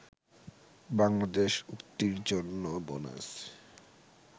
বাংলাদেশ উক্তির জন্য বোনাস